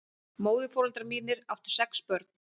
Móðurforeldrar mínir áttu sex börn.